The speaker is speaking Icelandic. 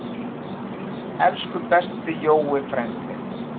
Elsku besti Jói frændi.